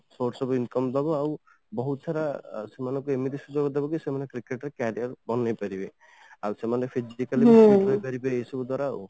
source of income ଦବ ଆଉ ବହୁତ ସାରା ଲୋକମାନଙ୍କୁ ଏମିତି ସୁଯୋଗ ଦବ କି ସେମାନେ cricket ରେ career ବନେଇପାରିବେ ଆଉ ସେମାନେ